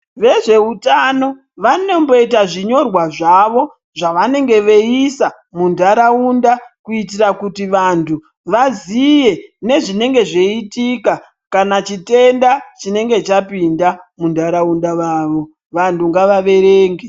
Vezveutano vanomboita zvinyorwa zvavo zvavanenge veiisa mundaraunda kuti vantu vaziye nezvinenge zveiitika kana chitenda chenenge chapinda mundaraunda mavo vantu ngavaverenge.